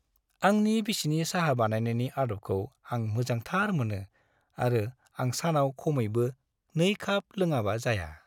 आंनि बिसिनि साहा बानायनायनि आदबखौ आं मोजांथार मोनो आरो आं सानाव खमैबो 2 काप लोङाबा जाया।